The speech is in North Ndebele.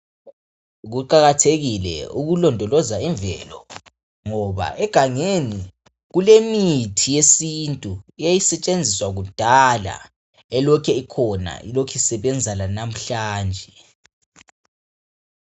Kuqakathekile ukulondoloza imvelo ngoba egangeni kulemithi yesintu eyayisetshenziswa kudala elokhe ikhona lokhe isebenza lamuhla nje.